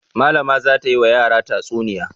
Malama za ta yi wa yara tatsuniya.